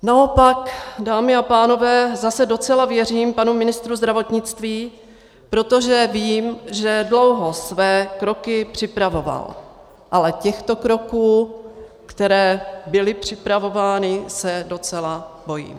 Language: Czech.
Naopak, dámy a pánové, zase docela věřím panu ministru zdravotnictví, protože vím, že dlouho své kroky připravoval, ale těchto kroků, které byly připravovány, se docela bojím.